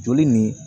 Joli nin